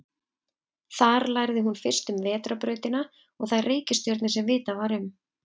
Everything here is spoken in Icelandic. Þar lærði hún fyrst um vetrarbrautina og þær reikistjörnur sem vitað var um.